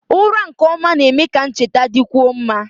Ụra nke ọma na-eme ka ncheta dịkwuo mma